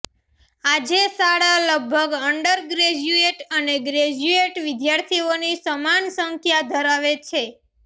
આજે શાળા લગભગ અંડરગ્રેજ્યુએટ અને ગ્રેજ્યુએટ વિદ્યાર્થીઓની સમાન સંખ્યા ધરાવે છે